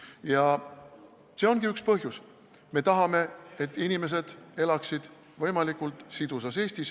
Ja see ongi üks põhjus: me tahame, et inimesed elaksid võimalikult sidusas Eestis.